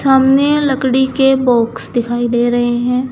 सामने लकड़ी के बॉक्स दिखाई दे रहे हैं।